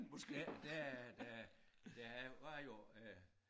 Der der der der var jo øh